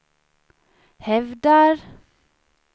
hävdar